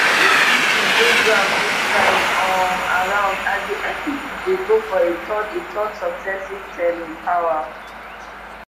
big issues dey ground dis time um around as di npp dey go for a third a third successive term in power